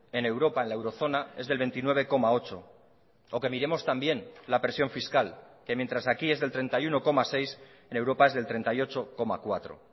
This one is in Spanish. en europa en la eurozona es del veintinueve coma ocho o que miremos también la presión fiscal que mientras aquí es del treinta y uno coma seis en europa es del treinta y ocho coma cuatro